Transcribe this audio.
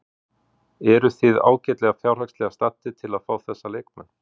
Eruð þið ágætlega fjárhagslega staddir til að fá þessa leikmenn?